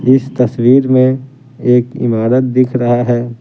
इस तस्वीर में एक इमारत दिख रहा है।